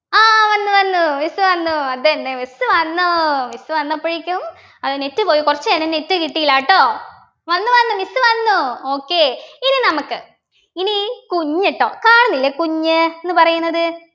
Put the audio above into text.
ആഹ് വന്നു വന്നു miss വന്നു അതെന്നെ miss വന്നു miss വന്നപ്പോഴേക്കും അത് net പോയി കുറച്ചു നേരം net കിട്ടീല ട്ടോ വന്നു വന്നു miss വന്നു okay ഇനി നമുക്ക് ഇനി കുഞ്ഞ് ട്ടോ കാണുന്നില്ലേ കുഞ്ഞ് ന്നു പറയുന്നത്